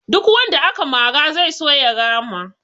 Duk wanda aka mara zai so ya rama